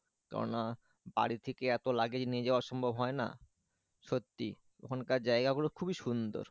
কেননা বাড়ি থেকে এত luggage নিয়ে যাওয়া সম্ভব হয় না সত্যি ওখানকার জায়গা গুলো খুবই সুন্দর